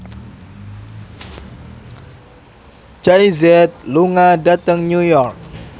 Jay Z lunga dhateng New York